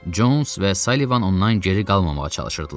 Cons və Salivan ondan geri qalmamağa çalışırdılar.